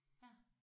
Ja